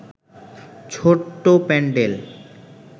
ছোট্ট প্যান্ডেল